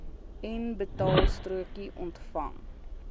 n betaalstrokie ontvang